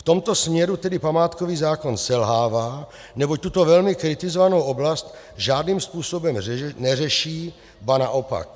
V tomto směru tedy památkový zákon selhává, neboť tuto velmi kritizovanou oblast žádným způsobem neřeší, ba naopak.